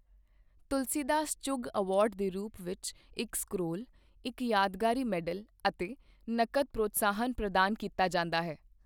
ਤੁਲਸੀ Das Chugh award ਦੇ ਰੂਪ ਵਿੱਚ ਇੱਕ ਸਕ੍ਰੋਲ, ਇੱਕ ਯਾਦਗਾਰੀ ਮੈਡਲ ਅਤੇ ਨਕਦ ਪ੍ਰੋਤਸਾਹਨ ਪ੍ਰਦਾਨ ਕੀਤਾ ਜਾਂਦਾ ਹੈ।